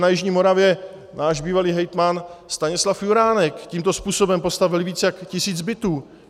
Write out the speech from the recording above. Na jižní Moravě náš bývalý hejtman Stanislav Juránek tímto způsobem postavil více jak tisíc bytů.